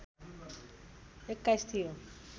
२१ थियो